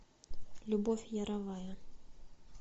любовь яровая